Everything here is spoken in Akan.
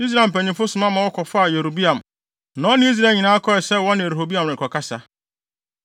Israel mpanyimfo soma ma wɔkɔfaa Yeroboam, na ɔne Israel nyinaa kɔɔ sɛ wɔne Rehoboam rekɔkasa.